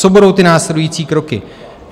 Co budou ty následující kroky?